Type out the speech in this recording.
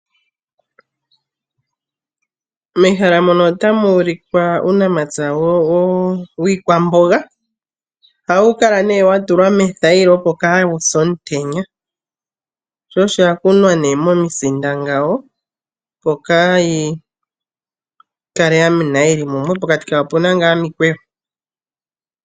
Uunamapya wiikwamboga ohawu kala wa tulwa mothayila, opo kaawuse omutenya. Ohayi kala yakunwa momisinda kaayi kale yamena yili mumwe.